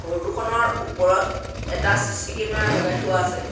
Photo খনৰ ওপৰত এটা চি_চি কেমেৰা লগাই থোৱা আছে।